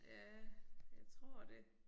Ja jeg tror det